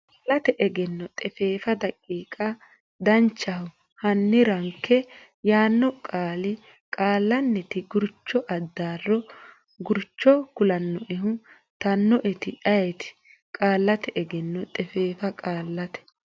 Qaallate Egenno xefeefa daqiiqa Danchaho hanni ranke yaanno qaali Qaallannita Gurchonna Addaarro gurcho kulaannoehu tannoeti ayeti Qaallate Egenno xefeefa Qaallate.